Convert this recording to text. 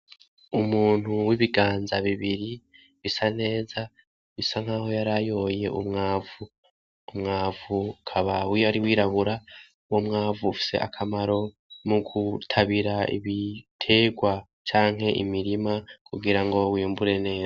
Umuntu w'ibiganza bibiri bisa neza bisa nkaho yarayoye umwavu ,umwavu ukaba wari wirabura ,umwavu ufise akamaro mugutabira ibiterwa canke imirima kugirango bimbure neza